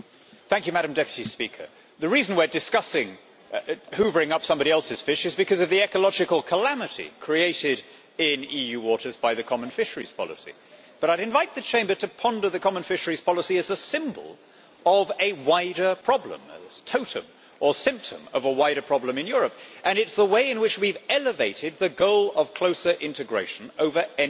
Madam President, the reason we are discussing hoovering up somebody else's fish is because of the ecological calamity created in EU waters by the common fisheries policy, but I would invite the Chamber to ponder the common fisheries policy as a symbol of a wider problem, a token or symptom, of a wider problem in Europe, and it is the way in which we have elevated the goal of closer integration over any